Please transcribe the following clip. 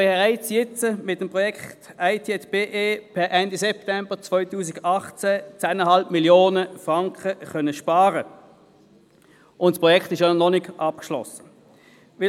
So konnten mit dem Projekt IT@BE schon jetzt per Ende September 2018 rund 10,5 Mio. Franken eingespart werden, wobei das Projekt noch nicht abgeschlossen ist.